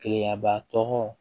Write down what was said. Keleyaba tɔgɔ